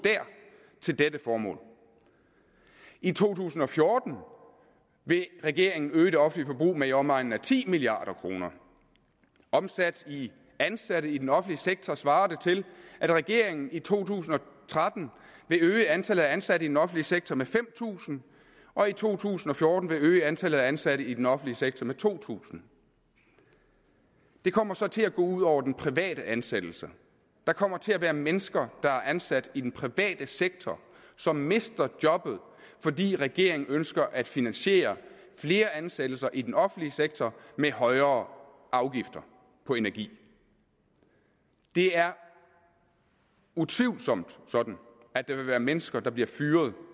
til dette formål i to tusind og fjorten vil regeringen øge det offentlige forbrug med i omegnen af ti milliard kroner omsat i ansatte i den offentlige sektor svarer det til at regeringen i to tusind og tretten vil øge antallet af ansatte i den offentlige sektor med fem tusind og i to tusind og fjorten vil øge antallet af ansatte i den offentlige sektor med to tusind det kommer så til at gå ud over den private ansættelse der kommer til at være mennesker der er ansat i den private sektor som mister jobbet fordi regeringen ønsker at finansiere flere ansættelser i den offentlige sektor med højere afgifter på energi det er utvivlsomt sådan at der vil være mennesker der bliver fyret